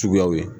Suguyaw ye